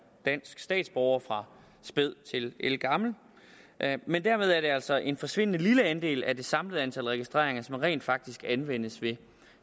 dansk statsborger fra spæd til ældgammel men dermed er det altså en forsvindende lille andel af det samlede antal registreringer der rent faktisk anvendes ved